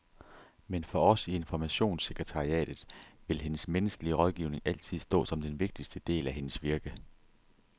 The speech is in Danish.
Men for os i informationssekretariatet vil hendes menneskelige rådgivning altid stå som den vigtigste del af hendes virke.